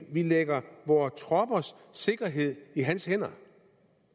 lægger vores troppers sikkerhed i hans hænder